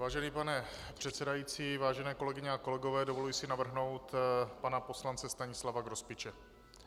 Vážený pane předsedající, vážené kolegyně a kolegové, dovoluji si navrhnout pana poslance Stanislava Grospiče.